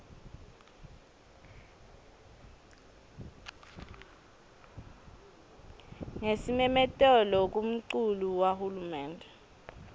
ngesimemetelo kumculu wahulumende